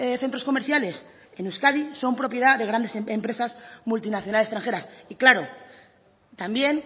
centros comerciales en euskadi son propiedad de grandes empresas multinacional extranjeras y claro también